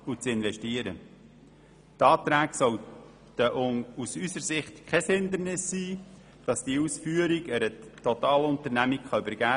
Die Auflagen des Antrags sollten aus unserer Sicht kein Hindernis bilden, um die Ausführung einer Totalunternehmung zu übergeben.